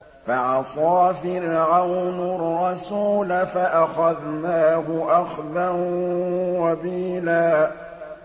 فَعَصَىٰ فِرْعَوْنُ الرَّسُولَ فَأَخَذْنَاهُ أَخْذًا وَبِيلًا